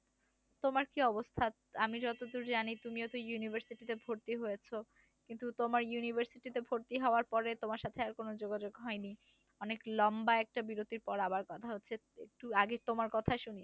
তোমার কি অবস্থা? আমি যতদূর জানি তুমিও তো university তে ভর্তি হয়েছো। কিন্তু তোমার university তেও ভর্তি হওয়ার পরে তোমার সাথে আর কোন যোগাযোগ হয়নি। অনেক লম্বা একটা বিরতির পর আবার কথা হচ্ছে একটু আগে তোমার কথাই শুনি।